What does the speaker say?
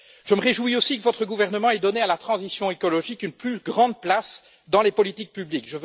Je me réjouis aussi que votre gouvernement ait donné à la transition écologique une plus grande place dans les politiques publiques.